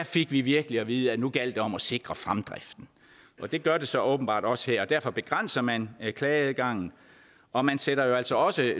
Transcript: fik vi virkelig at vide at nu gjaldt det om at sikre fremdriften det gør det så åbenbart også her og derfor begrænser man klageadgangen og man sætter jo altså også